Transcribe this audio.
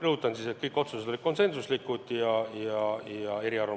Rõhutan, et kõik otsused olid konsensuslikud ja eriarvamusi ei olnud.